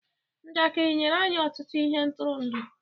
Njakịrị nyere anyị ọtụtụ ihe ntụrụndụ.